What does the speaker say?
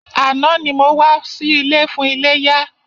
Àná ni mo wá sí ilé fún iléyá.